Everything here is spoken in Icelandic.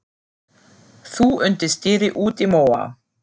Þú undir stýri út í móa.